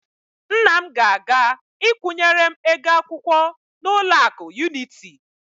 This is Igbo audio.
Nna m ga-aga ịkwụnyere m ego akwụkwọ n'ụlọakụ Yuniti.